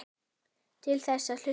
Til þess að hlusta.